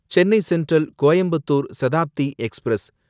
Chennai Central Coimbatore Shatabdi express